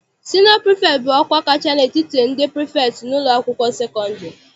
Sinịọ prifektị bụ ọkwa kacha n'etiti ndị prifektị n'ụlọakwụkwọ sekọndịrị.